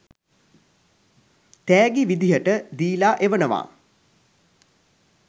තෑගි විධියට දීලා එවනවා.